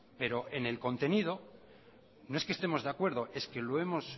pero en el contenido no es que estemos de acuerdo es que lo hemos